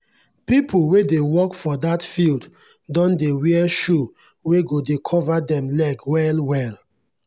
pple wey dey work for that field don dey wear shoe wey go dey cover dem leg well well.